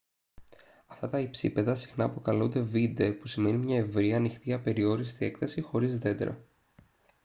αυτά τα υψίπεδα συχνά αποκαλούνται «βίντε» που σημαίνει μια ευρεία ανοιχτή απεριόριστη έκταση χωρίς δέντρα